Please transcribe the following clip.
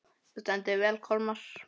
Þú stendur þig vel, Kolmar!